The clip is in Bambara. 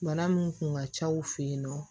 Bana min kun ka ca u fɛ yen nɔ